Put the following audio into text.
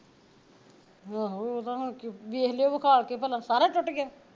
ਆਹੋ ਓਹਦਾ ਹੁਣ ਕੀ ਵੇਖ ਲਿਓ ਵਖਾ ਕੇ ਭਲਾ ਸਾਰਾ ਈ ਟੁੱਟ ਗਿਆ